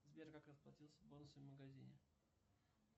сбер как расплатиться бонусами в магазине